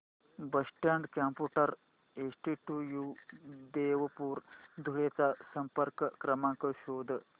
Boston computer institute Devpur Dhule चा संपर्क क्रमांक शोध